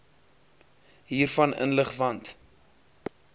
hiervan inlig want